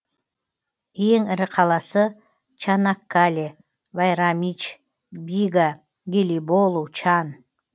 ең ірі қаласы чанаккале байрамич бига гелиболу чан